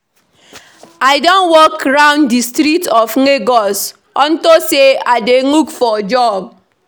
I don walk round the street of Lagos unto say I dey look for job